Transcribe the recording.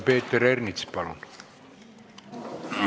Peeter Ernits, palun!